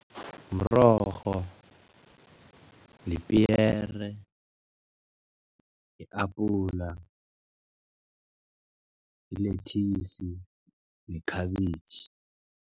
Mrorho, lipiyere, i-apula, yilethisi nekhabitjhi.